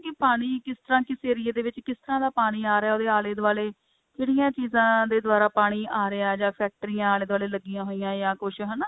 ਕਿ ਪਾਣੀ ਕਿਸ ਤਰ੍ਹਾਂ ਕਿਸ ਏਰੀਏ ਦੇ ਵਿੱਚ ਕਿਸ ਤਰ੍ਹਾਂ ਦਾ ਪਾਣੀ ਆ ਰਿਹਾ ਉਹਦੇ ਆਲੇ ਦਵਾਲੇ ਕਿਹੜੀਆਂ ਚੀਜਾ ਦੇ ਦਵਾਰਾ ਪਾਣੀ ਆ ਰਿਹਾ ਜਾ ਫ਼ੈਕਟਰੀਆਂ ਆਲੇ ਦੁਆਲੇ ਲੱਗੀਆਂ ਹੋਈਆਂ ਜਾਂ ਕੁੱਝ ਹਨਾ